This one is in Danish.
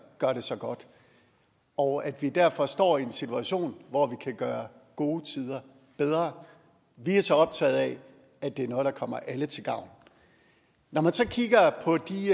gør det så godt og at vi derfor står i en situation hvor vi kan gøre gode tider bedre vi er så optaget af at det er noget der kommer alle til gavn når man så kigger på de